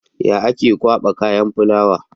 Ya ake kwaba kayan fulawa?